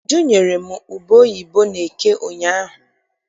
Uju nyere m ube oyibo n'eke ụnyaahụ.